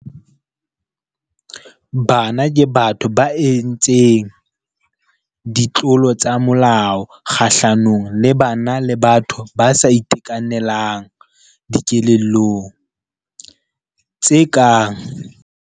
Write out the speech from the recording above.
Bana ke batho ba entseng ditlolo tsa molao kgahlanong le bana le batho ba sa itekanelang dikelellong, tse kang.